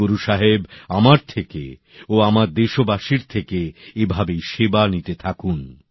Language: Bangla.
গুরু সাহেব আমার থেকে ও আমার দেশবাসীর থেকে এভাবেই সেবা নিতে থাকুন